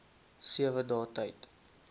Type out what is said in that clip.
sewe dae tyd